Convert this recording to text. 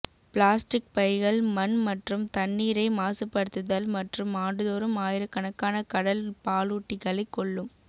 plastic பைகள் மண் மற்றும் தண்ணீரை மாசுபடுத்துதல் மற்றும் ஆண்டுதோறும் ஆயிரக்கணக்கான கடல் பாலூட்டிகளைக் கொல்லும்